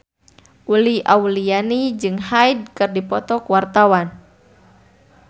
Uli Auliani jeung Hyde keur dipoto ku wartawan